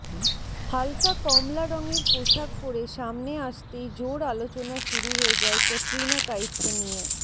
হালকা কমলা রঙের পোশাক পরে সামনে আসতেই জোর আলোচনা শুরু হয়ে যায় ক্যাটরিনা কাইফকে নিয়ে